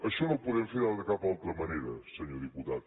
això no ho podem fer de cap altra manera senyor diputat